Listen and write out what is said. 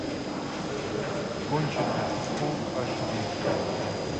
конченная фул аш ди